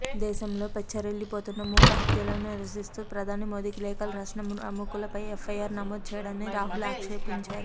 దేశంలో పెచ్చరిల్లిపోతున్న మూక హత్యలను నిరిసిస్తూ ప్రధాని మోదీకి లేఖలు రాసిన ప్రముఖులపై ఎఫ్ఐఆర్ నమోదు చేయడాన్ని రాహుల్ ఆక్షేపించారు